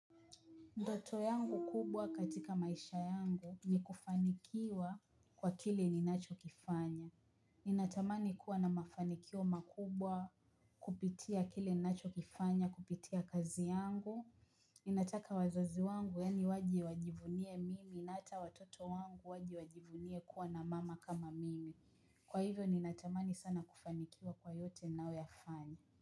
Ndoto yangu kubwa katika maisha yangu ni kufanikiwa kwa kile ninachokifanya. Ninatamani kuwa na mafanikio makubwa kupitia kile ninachokifanya, kupitia kazi yangu. Ninataka wazazi wangu yaani waje wajivunie mimi na hata watoto wangu waje wajivunie kuwa na mama kama mimi. Kwa hivyo ninatamani sana kufanikiwa kwa yote nayoyafanya.